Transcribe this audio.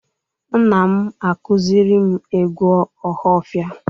Nna m akuziri m egwu ohafia